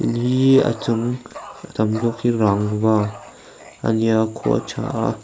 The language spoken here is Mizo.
ni a chung a tam zawk hi rangva a nia khua a tha a.